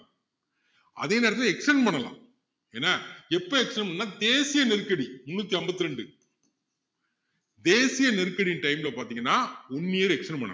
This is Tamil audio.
அதே நேரத்துல extend பண்ணலாம் ஏன்னா எப்போ extend பண்ணலான்னா தேசிய நெருக்கடி முந்நூத்தி ஐம்பத்தி ரெண்டு தேசிய நெருக்கடி time ல பாத்தீங்கன்னா one year extend பண்ணலாம்